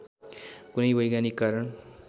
कुनै वैज्ञानिक कारण